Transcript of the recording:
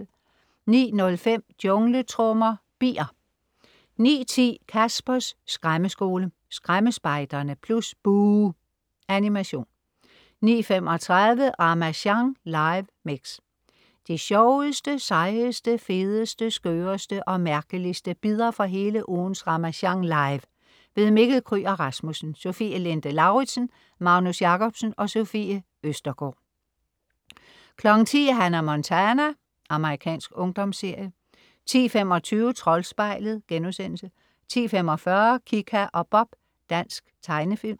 09.05 Jungletrommer. Bier 09.10 Caspers Skræmmeskole. Skræmmespejderne + Buh! Animation 09:35 Ramasjang live mix. De sjoveste, sejeste, fedeste, skøreste og mærkeligste bidder fra hele ugens Ramasjang Live. Mikkel Kryger Rasmussen, Sofie Linde Lauridsen, Magnus Jacobsen, Sofie Østergaard 10.00 Hannah Montana. Amerikansk ungdomsserie 10.25 Troldspejlet* 10.45 Kika og Bob. Dansk tegnefilm